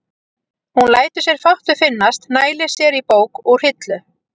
Hún lætur sér fátt um finnast, nælir sér í bók úr hillu.